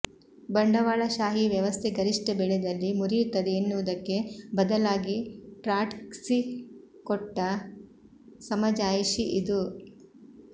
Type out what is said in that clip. ಬಂಡವಾಳಶಾಹಿ ವ್ಯವಸ್ಥೆ ಗರಿಷ್ಠ ಬೆಳೆದಲ್ಲಿ ಮುರಿಯುತ್ತದೆ ಎನ್ನುವುದಕ್ಕೆ ಬದಲಾಗಿ ಟ್ರಾಟ್ಕ್ಸಿ ಕೊಟ್ಟ ಸಮಜಾಯಿಷಿ ಇದು